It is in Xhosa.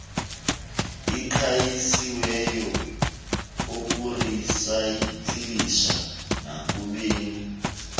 aqalisiweyo okurisayikilisha nakubeni